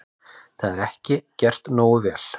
Það sé ekki gert nógu vel.